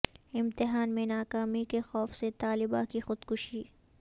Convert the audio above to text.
امتحان میں ناکامی کے خوف سے طالبہ کی خودکشی